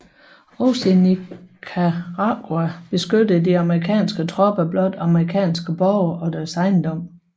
Også i Nicaragua beskyttede de amerikanske tropper blot amerikanske borgere og deres ejendom